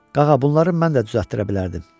Qağa, bunları mən də düzəldirə bilərdim.